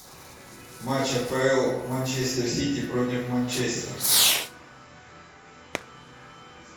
матч апл манчестер сити против манчестер